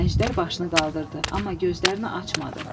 Əjdər başını qaldırdı, amma gözlərini açmadı.